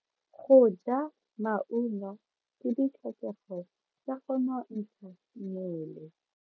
Go ja maungo ke ditlhokego tsa go nontsha mmele.